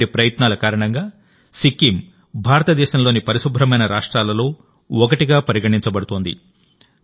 ఇటువంటి ప్రయత్నాల కారణంగాసిక్కిం భారతదేశంలోని పరిశుభ్రమైన రాష్ట్రాలలో ఒకటిగా పరిగణించబడుతోంది